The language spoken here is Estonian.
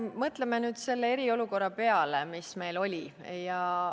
Mõtleme nüüd selle eriolukorra peale, mis meil oli.